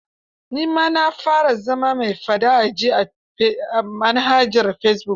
Ni ma na fara zama mai faɗa a ji a manhajar fesibuk.